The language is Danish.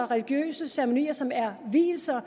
religiøse ceremonier men som er vielser og